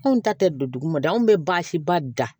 Anw ta tɛ don dugu ma da anw bɛ baasi ba dan